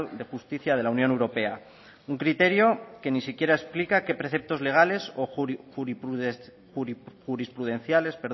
de justicia de la unión europea un criterio que ni siquiera explica qué preceptos legales o jurisprudenciales